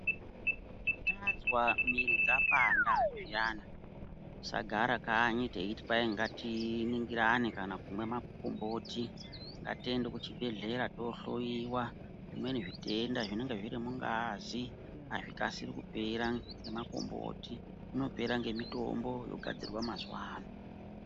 Tazwa miri dzapanda zviyana tisagara kanyi teiti ngatiningirane kana kumwe makomboti ngatiende kuchibhedhleya tohloiwa zvimweni zvitenda zvinenge zviri mungazi azvikasiri kupera ngemakomboti inopera ngemitombo yogadzirwa mazuwa ano.